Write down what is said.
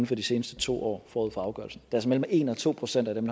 for de seneste to år forud for afgørelsen det er altså mellem en og to procent af dem